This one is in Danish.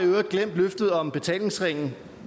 øvrigt glemt løftet om betalingsringen